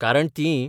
कारण तींय